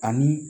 Ani